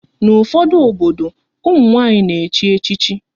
N'ufodu obodo, ụmụ nwanyị na echi echichi